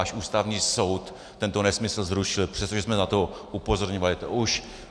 Až Ústavní soud tento nesmysl zrušil, přestože jsme na to upozorňovali.